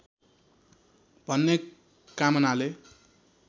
भन्ने कामनाले